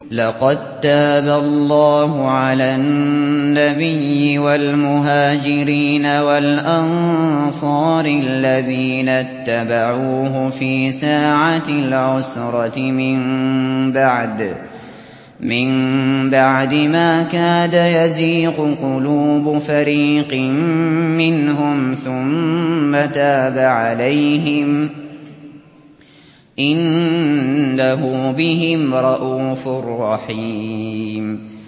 لَّقَد تَّابَ اللَّهُ عَلَى النَّبِيِّ وَالْمُهَاجِرِينَ وَالْأَنصَارِ الَّذِينَ اتَّبَعُوهُ فِي سَاعَةِ الْعُسْرَةِ مِن بَعْدِ مَا كَادَ يَزِيغُ قُلُوبُ فَرِيقٍ مِّنْهُمْ ثُمَّ تَابَ عَلَيْهِمْ ۚ إِنَّهُ بِهِمْ رَءُوفٌ رَّحِيمٌ